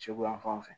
Suguyafan fɛ